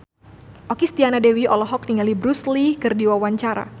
Okky Setiana Dewi olohok ningali Bruce Lee keur diwawancara